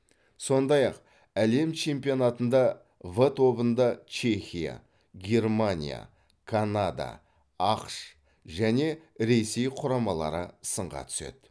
сондай ақ әлем чемпионатында в тобында чехия германия канада ақш және ресей құрамалары сынға түседі